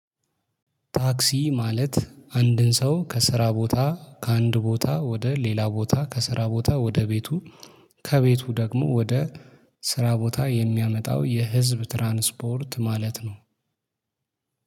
ታክሲ ማለት አንድን ሰው ከስራ ቦታ ከአንድ ቦታ ወደ ሌላ ቦታ ከስራ ቦታ ወደ ቤቱ ከቤቱ ደግሞ ወደ ስራ ቦታ የሚያመጣው የህዝብ ትራንስፖርት ማለት ነው።